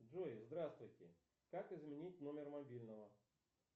джой здравствуйте как изменить номер мобильного